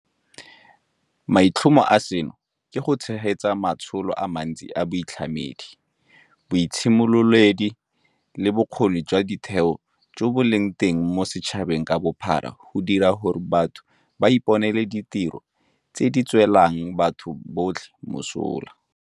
Maitlhomo a seno ke go tshegetsa matsholo a mantsi a boitlhamedi, boitshimololedi le a bokgoni jwa ditheo jo bo leng teng mo setšhabeng ka bophara go dira gore batho ba iponele ditiro tse di tswelang batho botlhe mosola.